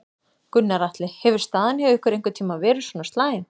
Gunnar Atli: Hefur staðan hjá ykkur einhvern tímann verið svona slæm?